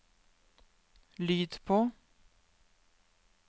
lyd på